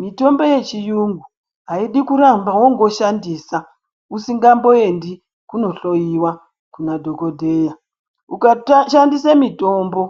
Mitombo yechiyungu aidi kuramba wongoshandisa, usingamboendi kunohloiwa kuna dhokodheya. Ukata shandise mitombo